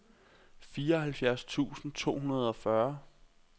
fireoghalvfjerds tusind to hundrede og fyrre